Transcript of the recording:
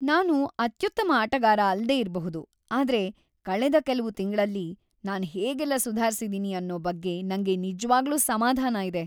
ನಾನು ಅತ್ಯುತ್ತಮ ಆಟಗಾರ ಅಲ್ದೇ ಇರ್ಬಹುದು ಆದ್ರೆ ಕಳೆದ ಕೆಲ್ವು ತಿಂಗ್ಳಲ್ಲಿ ನಾನ್ ಹೇಗೆಲ್ಲ ಸುಧಾರ್ಸಿದೀನಿ ಅನ್ನೋ ಬಗ್ಗೆ ನಂಗೆ ನಿಜ್ವಾಗ್ಲೂ ಸಮಾಧಾನ ಇದೆ.